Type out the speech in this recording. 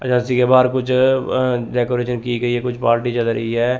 Agency के बाहर कुछ अं अं डेकोरेशन की गई है कुछ पार्टी चल रही है।